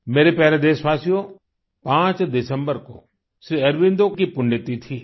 मेरे प्यारे देशवासियो 5 दिसम्बर को श्री अरबिंदो की पुण्यतिथि है